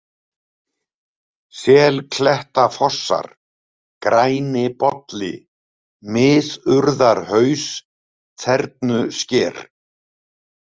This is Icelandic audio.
Selklettafossar, Grænibolli, Miðurðarhaus, Þernusker